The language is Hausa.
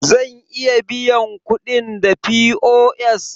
Zan iya biyan kuɗin da POS?